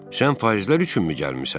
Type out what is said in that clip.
Sən faizlər üçünmü gəlmisən?